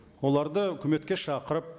оларды үкіметке шақырып